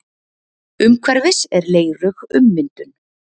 Umhverfis er leirug ummyndun.